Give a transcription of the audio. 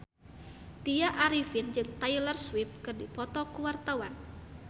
Tya Arifin jeung Taylor Swift keur dipoto ku wartawan